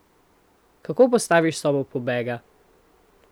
Kako postaviš sobo pobega?